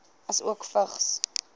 asook vigs